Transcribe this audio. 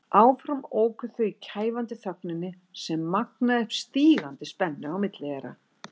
Áfram óku þau í kæfandi þögninni sem magnaði upp stígandi spennu á milli þeirra.